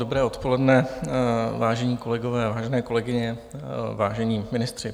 Dobré odpoledne, vážení kolegové, vážené kolegyně, vážení ministři.